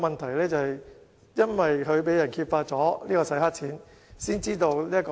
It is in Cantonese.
其後，因為他被揭發"洗黑錢"，問題才被揭發。